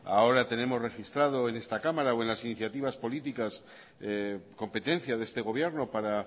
ahora tenemos registrado en esta cámara o en las iniciativas políticas competencia de este gobierno para